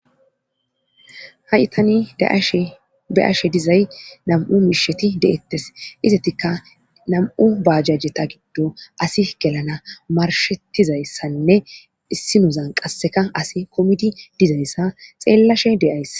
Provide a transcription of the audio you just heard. ha'i tani be'ashe dizay nam'u miisheti de'ettes izatika nam'u bajajeta giddo asi gelana marshettizayssanne issinozan qasseka asi kumidi dizayssa xeellashe de'ayss